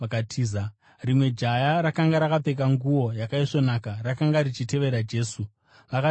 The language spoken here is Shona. Rimwe jaya, rakanga rakapfeka nguo yakaisvonaka, rakanga richitevera Jesu. Vakati varibata,